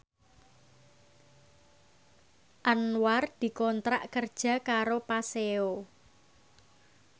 Anwar dikontrak kerja karo Paseo